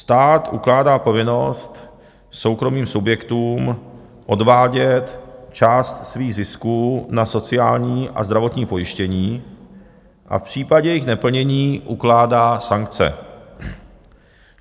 Stát ukládá povinnost soukromým subjektům odvádět část svých zisků na sociální a zdravotní pojištění a v případě jejich neplnění ukládá sankce.